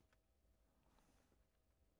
Onsdag d. 31. oktober 2012